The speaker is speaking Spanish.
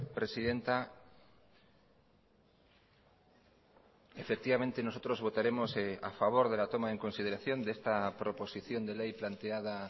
presidenta efectivamente nosotros votaremos a favor de la toma en consideración de esta proposición de ley planteada